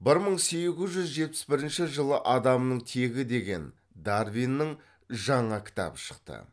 бір мың сегіз жүз жетпіс бірінші жылы адамның тегі деген дарвиннің жаңа кітабы шықты